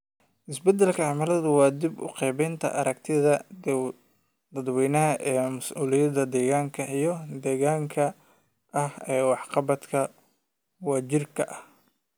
Isbeddelka cimiladu waa dib u qaabaynta aragtida dadweynaha ee mas'uuliyadda deegaanka iyo degdegga ah ee waxqabadka wadajirka ah.